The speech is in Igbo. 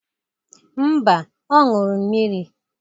Mba, ọ ṅụrụ mmiri.